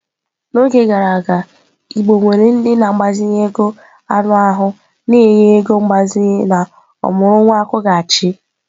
N'oge gara aga igbo nwere ndị na-agbazinye ego anụ ahụ na-enye ego mgbazinye na ọmụrụ nwa akwụghachi.